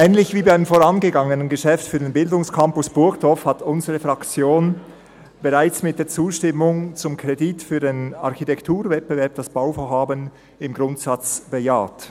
Ähnlich wie beim vorangegangenen Geschäft für den Bildungscampus Burgdorf hat unsere Fraktion das Bauvorhaben bereits mit der Zustimmung zum Kredit für den Architekturwettbewerb im Grundsatz bejaht.